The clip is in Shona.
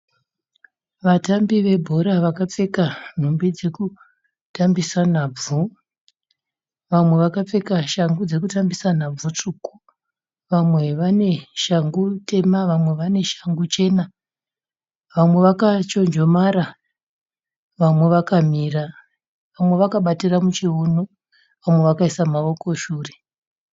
Vatambire webhora vakapfeka nhumbi dzekutambisa nadzo. Vamwe vakapfeka shangu dzekutambisa nhabvu tsvuku vamwe vane shangu tema vamwe vane shangu chena vamwe vakachonjomara vamwe vakamira vamwe vakabatira muchiuno vamwe wakaiswa maoko shure